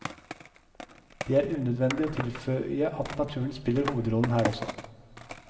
Det er unødvendig å tilføye at naturen spiller hovedrollen her også.